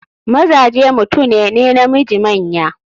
Mazaje mutune ne namiji manya.